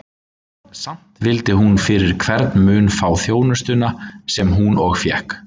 Samt vildi hún fyrir hvern mun fá þjónustuna, sem hún og fékk.